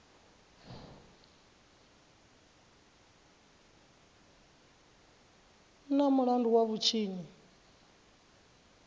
u na mulandu wa vhutshinyi